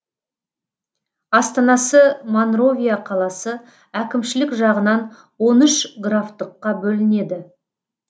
астанасы монровия қаласы әкімшілік жағынан он үш графтыққа бөлінеді